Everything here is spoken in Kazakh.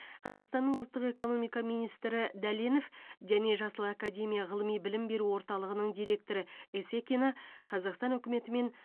қазақстанның ұлттық экономика министрі дәленов және жасыл академия ғылыми білім беру орталығының директоры есекина қазақстан үкіметі мен